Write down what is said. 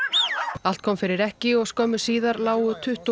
allt kom fyrir ekki og skömmu síðar lágu tuttugu og